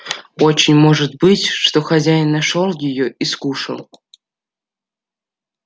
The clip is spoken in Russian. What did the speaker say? очень может быть что хозяин нашёл её и скушал